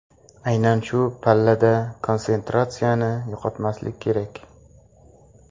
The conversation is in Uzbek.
Aynan shu pallada konsentratsiyani yo‘qotmaslik kerak.